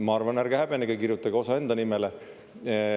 Ma arvan, ärge häbenege, kirjutage osa enda nimele.